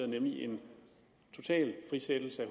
nemlig en total frisættelse